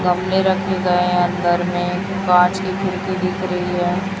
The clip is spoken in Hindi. गमले रखे गए हैं अंदर में कांच की खिड़की दिख रही है।